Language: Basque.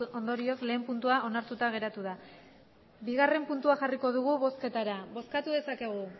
ondorioz lehen puntua onartuta geratu da bigarren puntua jarriko dugu bozketara bozkatu dezakegu